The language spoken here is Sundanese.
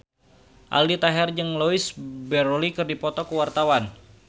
Aldi Taher jeung Louise Brealey keur dipoto ku wartawan